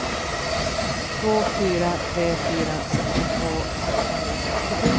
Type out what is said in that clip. två fyra tre fyra sextiotvå sexhundrasextiosju